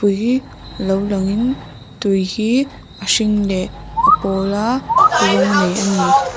pui lo langin tui hi a hring leh a pawla rawng nei a ni.